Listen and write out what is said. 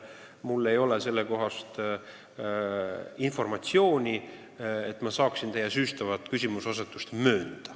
Mul ei ole informatsiooni, et ma saaksin teie süüstavat küsimuseasetust möönda.